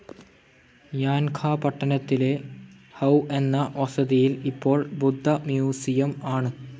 യാൻഖാ പട്ടണത്തിലെ ഹൌ എന്ന വസതിയിൽ ഇപ്പോൾ ബുദ്ധ മ്യൂസിയം ആണ്.